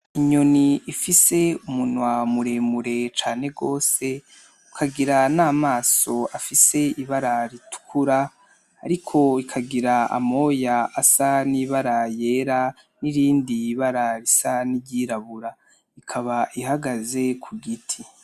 Inyoni ifise umunwa muremure cane gose ukagira n'amaso afise ibara ritukura ariko ikagira amoya n'ibara ryera n'irindi bara risa niry'irabura, ikaba ihagaze ku giti.